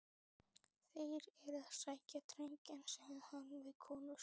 Þeir eru að sækja drenginn, sagði hann við konu sína.